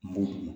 Moto boli